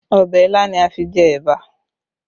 Ọbẹ̀ ilá ni a fi jẹ ẹ̀bà